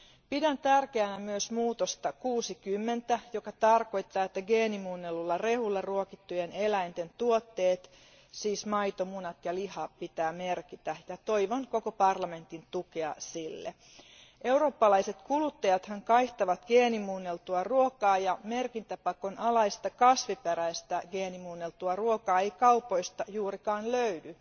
Pidän tärkeänä myös tarkistusta 60, joka tarkoittaa, että geenimuunnellulla rehulla ruokittujen eläinten tuotteet, siis maito, munat ja liha, pitää merkitä, ja toivon sille koko parlamentin tukea. Eurooppalaiset kuluttajathan kaihtavat geenimuunneltua ruokaa, ja merkintäpakon alaista kasviperäistä geenimuunneltua ruokaa ei kaupoista juurikaan löydy.